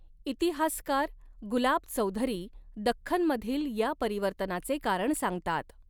इतिहासकार गुलाब चौधरी दख्खनमधील या परिवर्तनाचे कारण सांगतात.